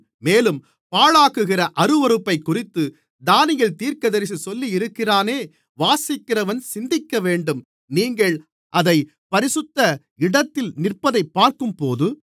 மேலும் பாழாக்குகிற அருவருப்பைக்குறித்து தானியேல் தீர்க்கதரிசி சொல்லியிருக்கிறானே வாசிக்கிறவன் சிந்திக்கவேண்டும் நீங்கள் அதைப் பரிசுத்த இடத்தில் நிற்பதைப் பார்க்கும்போது